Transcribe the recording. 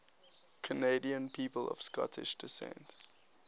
canadian people of scottish descent